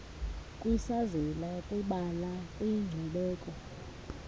kwisazela kwibala kwinkcubeko